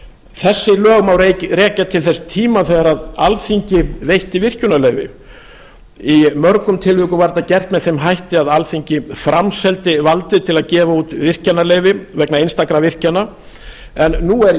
þessi lög má rekja til þess tíma þegar alþingi veitti virkjunar leyfi í mörgum tilvikum var þetta gert með þeim hætti að alþingi framseldi valdið til að gefa út virkjanaleyfi vegna einstakra virkjana en nú er í